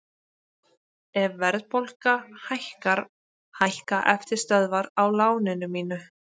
Ef verðbólga hækkar hækka eftirstöðvar á láninu mínu.